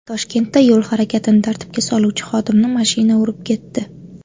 Toshkentda yo‘l harakatini tartibga soluvchi xodimni mashina urib ketdi.